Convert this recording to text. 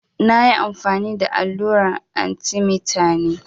Na ƴi amfani da alluran arthemeter ne.